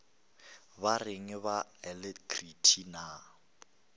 ba reng ba alacrity na